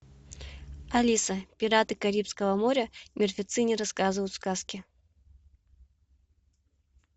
алиса пираты карибского моря мертвецы не рассказывают сказки